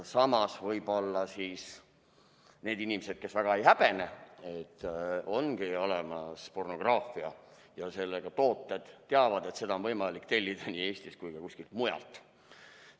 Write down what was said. Samas, võib-olla need inimesed, kes väga ei häbene, et ongi olemas pornograafia ja sellised tooted, teavad, et neid on võimalik tellida nii Eestist kui ka kuskilt mujalt.